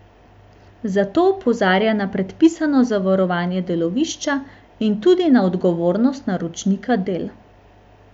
Zato opozarja na predpisano zavarovanje delovišča in tudi na odgovornost naročnika del.